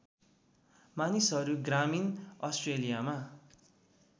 मानिसहरू ग्रामीण अस्ट्रेलियामा